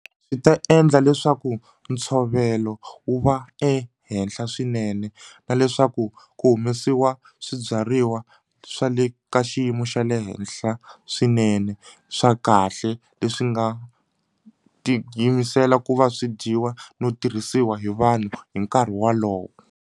Swi ta endla leswaku ntshovelo wu va ehenhla swinene na leswaku ku humesiwa swibyariwa swa le ka xiyimo xa le henhla swinene swa kahle leswi nga tiyimisela ku va swi dyiwa no tirhisiwa hi vanhu hi nkarhi wolowo.